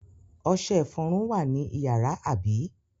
Ọṣẹ-ìfọrun wà ní ìyàrá, àbí?